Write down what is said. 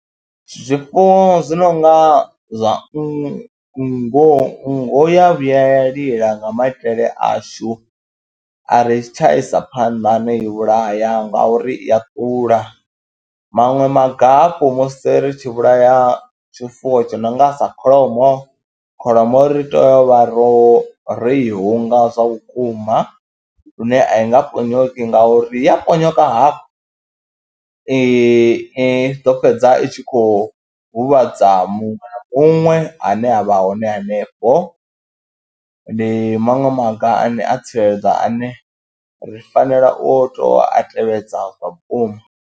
Zwifuwo zwi no nga zwa nngu, nngu ya vhuya ya lila nga maitele ashu a ri tsha isa phanḓa no i vhulaya ngauri i ya ula, maṅwe maga hafhu musi ri tshi vhulaya tshifuwo tshi no nga sa kholomo, kholomo ri tea u vha ro i hunga zwa vhukuma lune a i nga ponyoki ngauri ya ponyoka hafhu, i ḓo fhedza i tshi khou huvhadza muṅwe na muṅwe ane a vha hone hanefho. Ndi maṅwe maga ane a tsireledza ane ri fanela u tou a tevhedza zwa vhukuma.